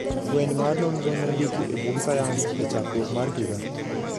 Fweny mar nonro nondiki e bug sayans e chakruok mar higa.